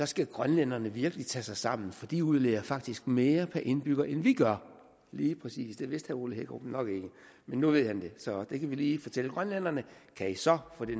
skal grønlænderne virkelig tage sig sammen for de udleder faktisk mere per indbygger end vi gør lige præcis det vidste herre ole hækkerup nok ikke men nu ved han det så det kan vi lige fortælle grønlænderne kan i så få det